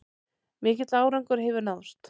Mikill árangur hefur náðst